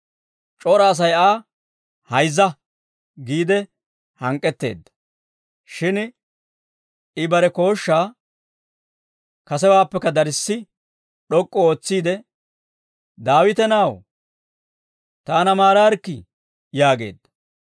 C'ora Asay Aa, «Hayzza!» giide hank'k'etteedda. Shin, I bare kooshshaa kasewaappekka darssi d'ok'k'u ootsiide, «Daawite na'aw, taana maaraarikkii!» yaageedda.